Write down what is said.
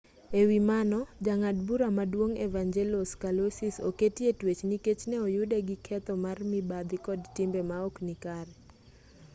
e wi mano jang'ad bura maduong' evangelos kalousis oketi e twech nikech ne oyude gi ketho mar mibadhi kod timbe maok nikare